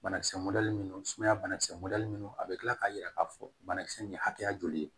Banakisɛ mɔdɛli ninnu sumaya bana kisɛ mɔdɛli minnu a bɛ kila k'a yira k'a fɔ banakisɛ nin ye hakɛya joli ye